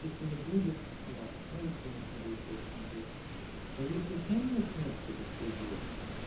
если не будет да может конечно будет лучше чем здесь но если там начнётся беспредел